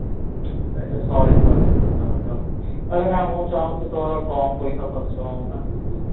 ସେଇଟା sorry sorry ସତ କଥା ଆରେ ନାଇଁ ମୁଁ ଚାହୁଁଛି ତୋର କମ ପଇସା ଖର୍ଚ୍ଚ ହଉ ନା କିଛିଟା